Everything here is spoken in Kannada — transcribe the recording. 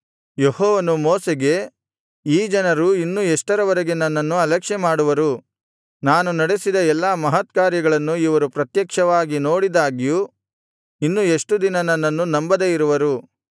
ಯೆಹೋವನು ಮೋಶೆಗೆ ಈ ಜನರು ಇನ್ನು ಎಷ್ಟರವರೆಗೆ ನನ್ನನ್ನು ಅಲಕ್ಷ್ಯಮಾಡುವರು ನಾನು ನಡೆಸಿದ ಎಲ್ಲಾ ಮಹತ್ಕಾರ್ಯಗಳನ್ನು ಇವರು ಪ್ರತ್ಯಕ್ಷವಾಗಿ ನೋಡಿದಾಗ್ಯೂ ಇನ್ನು ಎಷ್ಟು ದಿನ ನನ್ನನ್ನು ನಂಬದೆ ಇರುವರು